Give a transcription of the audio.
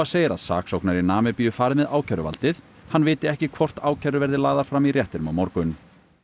segir að saksóknari í Namibíu fari með ákæruvaldið hann viti ekki hvort ákærur verði lagðar fram í réttinum á morgun